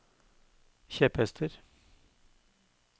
kjepphester